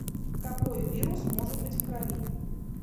какой вирус может быть в крови